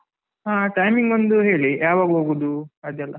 ಹಾ timing ಒಂದು ಹೇಳಿ ಯಾವಾಗ ಹೋಗುದು ಅದೆಲ್ಲ.